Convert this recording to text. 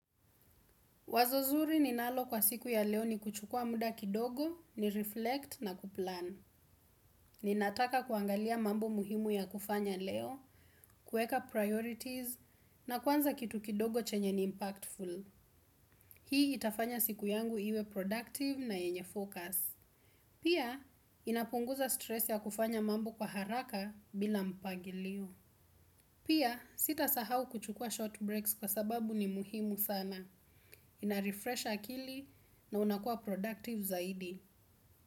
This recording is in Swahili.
Wazo zuri ninalo kwa siku ya leo ni kuchukua muda kidogo, ni reflect na kuplan. Ninataka kuangalia mambo muhimu ya kufanya leo, kueka priorities na kwanza kitu kidogo chenye ni impactful. Hii itafanya siku yangu iwe productive na yenye focus. Pia, inapunguza stress ya kufanya mambo kwa haraka bila mpagilio. Pia, sita sahau kuchukua short breaks kwa sababu ni muhimu sana. Narefresh akili na unakuwa productive saidi.